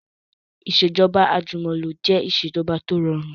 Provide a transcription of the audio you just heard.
Ìsèjọba àjùmọ̀lo jẹ ìsèjọba tí ó rọrùn